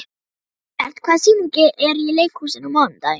Gilbert, hvaða sýningar eru í leikhúsinu á mánudaginn?